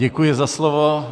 Děkuji za slovo.